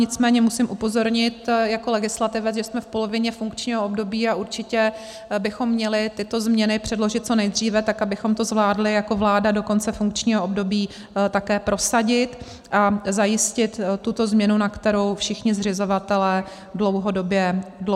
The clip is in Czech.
Nicméně musím upozornit jako legislativec, že jsme v polovině funkčního období a určitě bychom měli tyto změny předložit co nejdříve, tak abychom to zvládli jako vláda do konce funkčního období také prosadit a zajistit tuto změnu, na kterou všichni zřizovatelé dlouhodobě čekají.